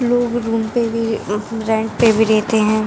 लोग रूम पे भी रेंट पे भी रहते हैं।